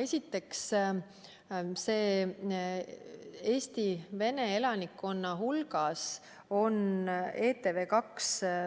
Esiteks, Eesti vene elanikkonna hulgas on ETV+